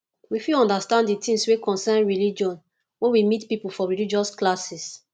we fit undersand the things wey concern religion when we meet pipo for religious classes